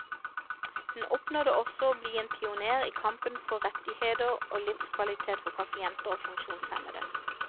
Hun oppnådde også å bli en pionér i kampen for rettigheter og livskvalitet for pasienter og funksjonshemmede.